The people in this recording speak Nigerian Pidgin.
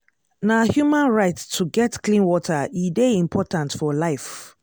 na human right to get clean water e dey important for life.